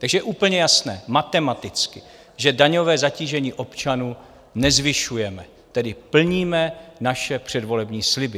Takže je úplně jasné matematicky, že daňové zatížení občanů nezvyšujeme, tedy plníme své předvolební sliby.